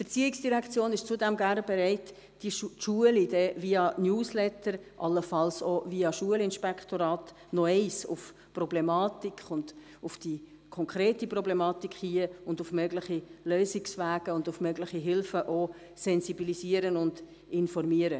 Die ERZ ist zudem gerne bereit, die Schulen via Newsletter, allenfalls auch via Schulinspektorat noch einmal auf die Problematik, auf die konkrete Problematik, und auf mögliche Lösungswege sowie auf mögliche Hilfen zu sensibilisieren und zu informieren.